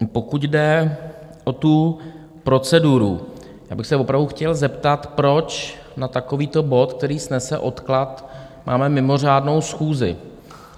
Pokud jde o tu proceduru, já bych se opravdu chtěl zeptat, proč na takovýto bod, který snese odklad, máme mimořádnou schůzi.